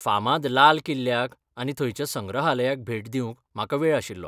फामाद लाल किल्ल्याक, आनी थंयच्या संग्रहालयाक भेट दिवंक म्हाका वेळ आशिल्लो.